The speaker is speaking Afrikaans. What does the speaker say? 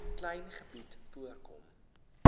klein gebied voorkom